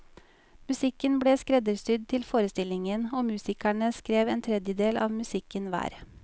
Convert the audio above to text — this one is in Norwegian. Musikken ble skreddersydd til forestillingen, og musikerne skrev en tredjedel av musikken hver.